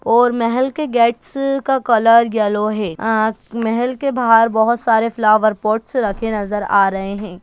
और महल के गेट्स का कलर येलो है अ महल के बहार बहोत सारे फ्लॉवर पॉटस रखे नजर आ रहे हैं।